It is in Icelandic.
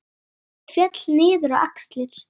Hárið féll niður á axlir.